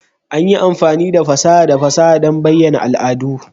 An yi amfani da fasaha da fasaha don bayyana al'adu.